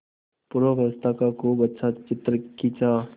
पूर्वावस्था का खूब अच्छा चित्र खींचा